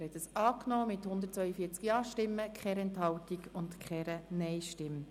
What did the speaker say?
Sie haben den Antrag mit 142 Ja-Stimmen, keiner Nein-Stimme und keiner Enthaltung angenommen.